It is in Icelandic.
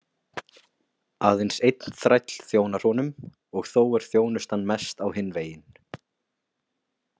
Aðeins einn þræll þjónar honum og þó er þjónustan mest á hinn veginn.